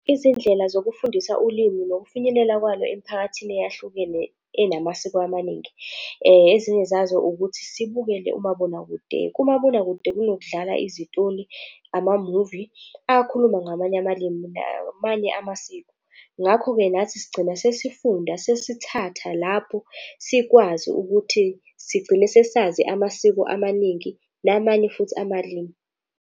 Izindlela zokufundisa ulimi nokufinyelela kwalo emphakathini eyahlukene enamasiko amaningi, ezinye zazo ukuthi sibukele umabonakude. Kumabonakude kunokudlala izitoli, amamuvi akhuluma ngamanye amalimi namanye amasiko. Ngakho-ke nathi sigcina sesifunda, sesithatha lapho sikwazi ukuthi sigcine sesazi amasiko amaningi namanye futhi amalimi.